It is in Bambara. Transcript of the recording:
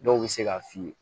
Dɔw bɛ se k'a f'i ye